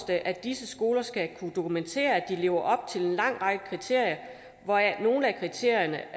det at disse skoler skal kunne dokumentere at de lever op til en lang række kriterier hvoraf nogle af kriterierne